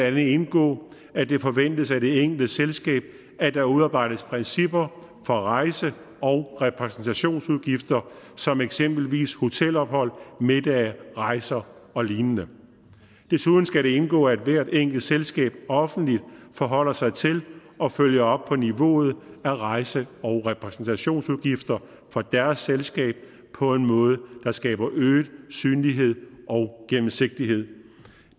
andet indgå at det forventes af det enkelte selskab at der udarbejdes principper for rejse og repræsentationsudgifter som eksempelvis hotelophold middage rejser og lignende desuden skal det indgå at hvert enkelt selskab offentligt forholder sig til og følger på niveauet af rejse og repræsentationsudgifter for deres selskab på en måde der skaber øget synlighed og gennemsigtighed